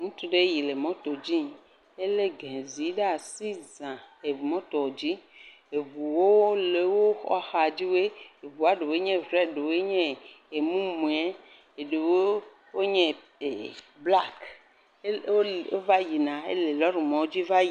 Ŋutsu ɖe yi le moto dzia, elé…